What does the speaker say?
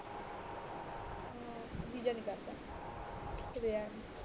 ਜੀ ਜਾ ਨਾ ਕਰਤਾ ਕਹੀ ਜਾਨ ਨੂੰ